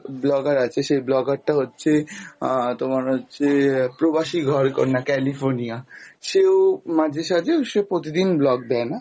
vlogger আছে, সে vlogger টা হচ্ছে আহ তোমার হচ্ছে প্রবাসীদের ঘর কন্যা california সে ও মাঝে সাঝে, সে প্রতিদিন vlog দেয়না